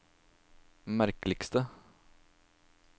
merkeligste